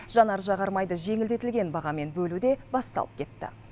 жанар жағармайды жеңілдетілген бағамен бөлу де басталып кетті